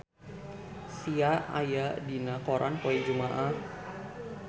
Sia aya dina koran poe Jumaah